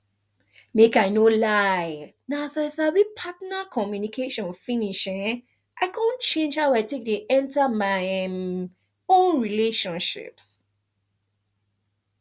make i no lie na as i sabi partner communication finish um i come change how i take dey enter my um own relationships